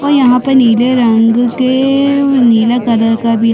और यहाँ पे नीले रंग के नीले कलर का भी--